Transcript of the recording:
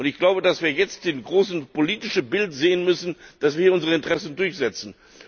Ich glaube, dass wir jetzt das große politische Bild sehen müssen, dass wir unsere Interessen durchsetzen.